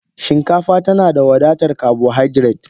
Shinkafa tana da wadatar carbohydrates.